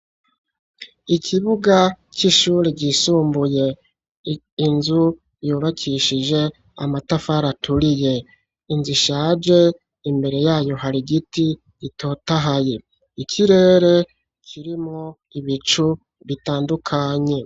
Ikibuga c'ishure ryisumbuye, inzu yubakishije amatafara aturiye, inzu ishaje, imbere yayo hari igiti gitotahaye, ikirere kirimwo ibicu bitandukanye.